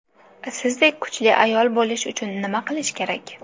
Sizdek kuchli ayol bo‘lish uchun nima qilish kerak?